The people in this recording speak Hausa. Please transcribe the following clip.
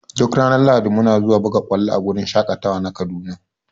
Duk ranar lahadi muna zuwa buga ƙwalo a wurin shaƙatawa na kaduna.